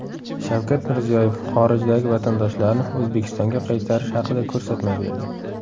Shavkat Mirziyoyev xorijdagi vatandoshlarni O‘zbekistonga qaytarish haqida ko‘rsatma berdi.